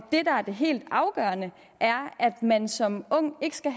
er det helt afgørende er at man som ung ikke skal